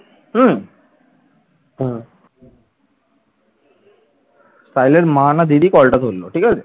সাহিল এর মা না দিদি call টা ধরল ঠিক আছে।